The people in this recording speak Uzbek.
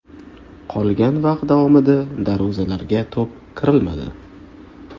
Qolgan vaqt davomida darvozalarga to‘p kiritilmadi.